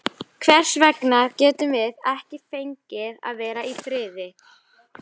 Hvers vegna getum við ekki fengið að vera í friði?